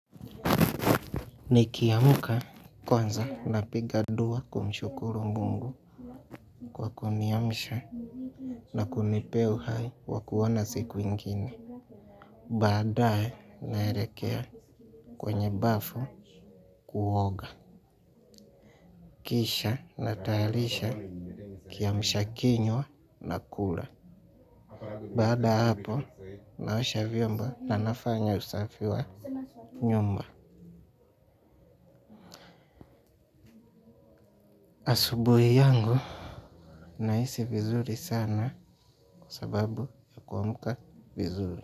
Nikiamka kwanza napiga dua kumshukuru mungu kwa kuniamsha na kunipea uhai wa kuona siku ingine. Badae naerekea kwenye bafu kuoga. Kisha natayalisha kiamsha kinywa nakula. Baada ya hapo naosha vyombo na nafanya usafi wa nyumba. Asubuhi yangu nahisi vizuri sana kwa sababu ya kumka vizuri.